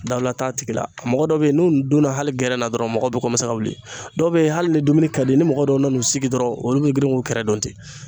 Dawula t'a tigi la. Mɔgɔ dɔw be yen n'u n donna hali gɛrɛn na dɔrɔn mɔgɔw be ka wili, dɔw be ye hali ni dumuni ka di ni mɔgɔ dɔw nan'u sigi dɔrɔn olu be girin k'u kɛrɛ dɔn ten.